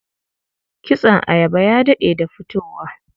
Kitson ayaba ya daɗe da fitowa.